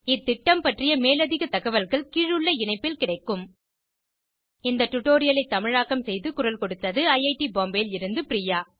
இந்த திட்டம் பற்றிய மேலதிக தகவல்கள் கீழுள்ள இணைப்பில் கிடைக்கும் இந்த டுடோரியலை தமிழாக்கம் செய்து குரல் கொடுத்தது ஐஐடி பாம்பேவில் இருந்து பிரியா